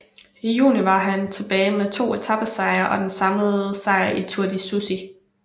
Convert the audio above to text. I juni var han tilbage med to etapesejre og den samlede sejr i Tour de Suisse